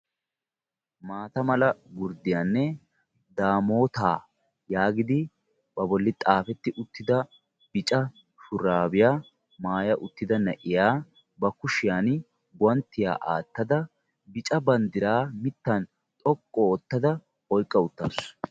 Mata mala gurddiyanne daamota yaagidi ba bolla xaaferi uttida bicca shurabiya maayya uttida na'iya ba kushiyaan guwanttiyaa aattada bicca banddira mittan xoqqu oottafa oyqqa uttaasu.